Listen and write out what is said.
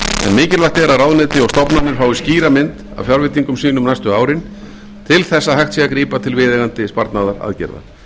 mikilvægt er að ráðuneyti og stofnanir fái skýra mynd af fjárveitingum sínum næstu árin til að hægt sé að grípa til viðeigandi sparnaðaraðgerða